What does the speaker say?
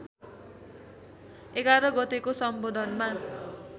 ११ गतेको सम्बोधनमा